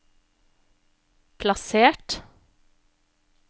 plassert